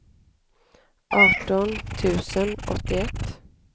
arton tusen åttioett